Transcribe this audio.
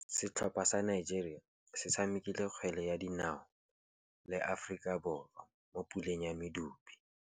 Setlhopha sa Nigeria se tshamekile kgwele ya dinaô le Aforika Borwa mo puleng ya medupe.